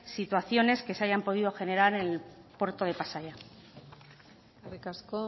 situaciones que se hayan podido generar en el puerto de pasaia eskerrik asko